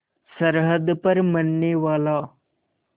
सरहद पर मरनेवाला